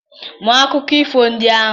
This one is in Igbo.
Mụọ akụkọ ifo ndị ahụ